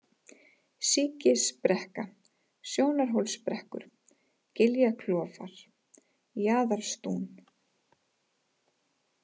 Síkisbrekka, Sjónarhólsbrekkur, Giljaklofar, Jaðarstún